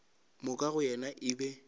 moka go yena e be